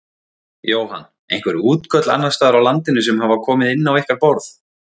Jóhann: Einhver útköll annarsstaðar á landinu sem hafa komið inn á ykkar borð?